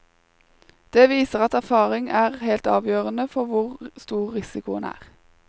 Det viser at erfaring er helt avgjørende for hvor stor risikoen er.